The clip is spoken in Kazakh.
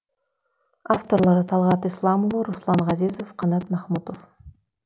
авторлары талғат исламұлы руслан ғазизов қанат махмұтов